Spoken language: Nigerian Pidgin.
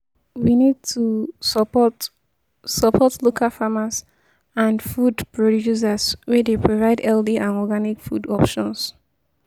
We need to support support local farmers and food producers wey dey provide healthy and organic food options.